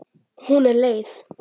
Þau studdu hvort annað.